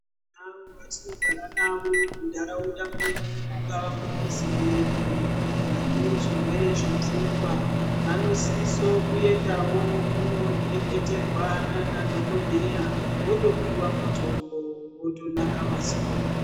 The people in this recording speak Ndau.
Avo vatinogara navo mundaraunda medu mungava mumizi medu, vane zvirwere zvepfungwa vanosiso kuendavo kundoreketerwa nanadhokodheyaa votopiwaa mutombo votonaka masoro.